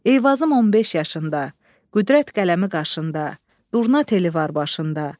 Eyvazım 15 yaşında, qüdrət qələmi qaşında, durna teli var başında.